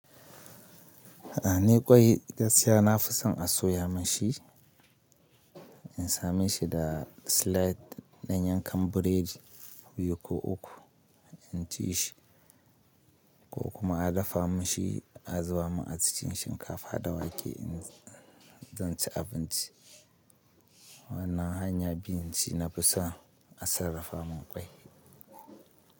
A ne ƙwai gaskiya na fi son a soya mashi, in sa mashi da slide na yanka buredi biyu ko uku in ci shi ko kuma a dafa mashi a zuba ma a cikin shinkafa da wake in zan ci abinci. Wannan hanya biyu shi na fi so a sarrafa min ƙwai.